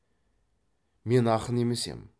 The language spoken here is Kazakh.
мен ақын емес ем